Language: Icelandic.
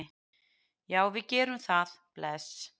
Já, við gerum það. Bless.